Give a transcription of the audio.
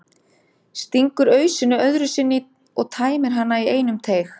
Stingur ausunni öðru sinni í og tæmir hana í einum teyg.